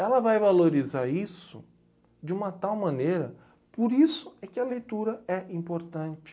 Ela vai valorizar isso de uma tal maneira, por isso é que a leitura é importante.